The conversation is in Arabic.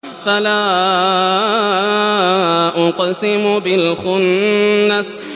فَلَا أُقْسِمُ بِالْخُنَّسِ